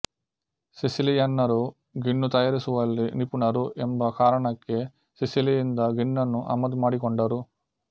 ಸಿಸಿಲಿಯನ್ನರು ಗಿಣ್ಣು ತಯಾರಿಸುವಲ್ಲಿ ನಿಪುಣರು ಎಂಬ ಕಾರಣಕ್ಕೆ ಸಿಸಿಲಿಯಿಂದ ಗಿಣ್ಣನ್ನು ಆಮದು ಮಾಡಿಕೊಂಡರು